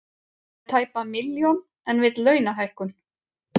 Með tæpa milljón en vilja launahækkun